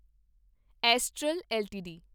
astral LTD